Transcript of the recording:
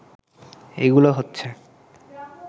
এগুলো হচ্ছে